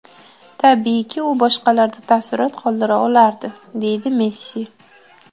Tabiiyki u boshqalarda taassurot qoldira olardi”, deydi Messi.